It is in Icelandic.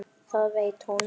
Það veit hún.